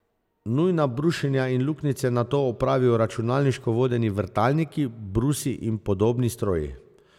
Nujna brušenja in luknjice nato opravijo računalniško vodeni vrtalniki, brusi in podobni stroji.